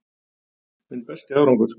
Minn besti árangur